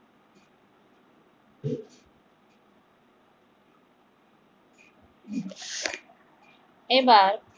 এবার